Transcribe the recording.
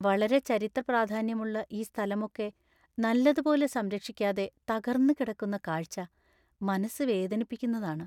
വളരെ ചരിത്രപ്രാധാന്യമുള്ള ഈ സ്ഥലമൊക്കെ നല്ലതുപോലെ സംരക്ഷിക്കാതെ തകർന്ന് കിടക്കുന്ന കാഴ്ച മനസ്സ് വേദനിപ്പിക്കുന്നതാണ്.